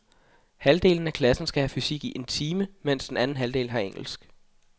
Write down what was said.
Halvdelen af klassen skal have fysik i en time, mens den anden halvdel har engelsk.